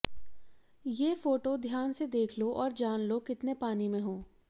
ये फोटो ध्यान से देख लो और जान लो कितने पानी में हो